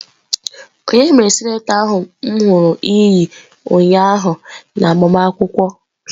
Onye mere sịnator ahu ka m huru gi ụnyaahụ n'agbamakwụkwọ?